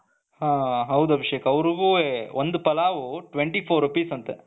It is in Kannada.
ಹ ಹೌದು ಅಭಿಷೇಕ್ ಒಂದು ಪಲಾವ್ twenty four Rupee's ಅಂತೆ,